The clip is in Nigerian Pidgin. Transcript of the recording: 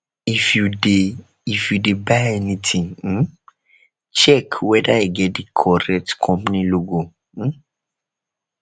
if you de if you de buy anything um check whether e get di correct company logo um